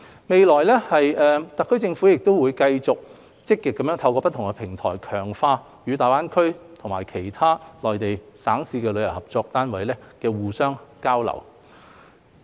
未來，特區政府會繼續積極透過不同平台，強化與大灣區及其他內地省市的旅遊單位的合作和互相交流。